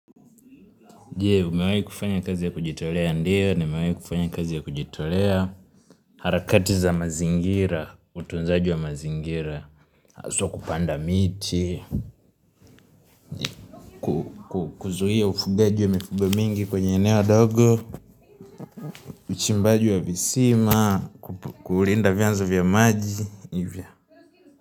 Je, umewahi kufanya kazi ya kujitolea? Ndiyo, nimewahi kufanya kazi ya kujitolea. Harakati za mazingira, utunzaji wa mazingira haswa kupanda miti. Kuzuia ufugaji wa mifugo mingi kwenye eneo dogo. Uchimbaji wa visima, kulinda vyanzo vya maji, hivyo.